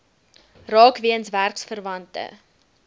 raak weens werksverwante